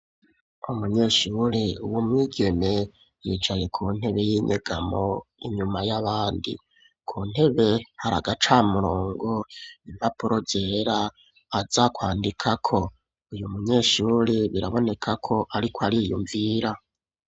Umunyeshuri, w'umwigeme, yicaye ku ntebe y'inyegamo, inyuma y'abandi; ku ntebe, hari agacamurongo, impapuro zera, aza kwandikako; uyu munyeshuri, biraboneka ko, ariko ariyumvira.